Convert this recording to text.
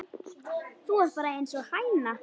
Þú ert bara einsog hæna.